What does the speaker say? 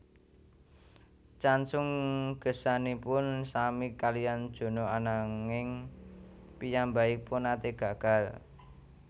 Chansung gesangipun sami kaliyan Junho ananging piyambakipun nate gagal